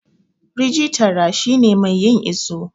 rijitara shi ne mai yin iso